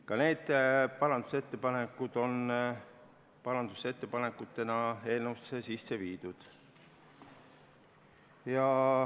Ka need parandusettepanekud on ettepanekutena eelnõusse sisse viidud.